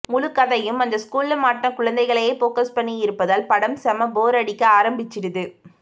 முழுக்கதையும் அந்த ஸ்கூல்ல மாட்ன குழந்தைங்களையே ஃபோகஸ் பண்ணி இருப்பதால் படம் செம போர் அடிக்க ஆரம்பிச்சுடுது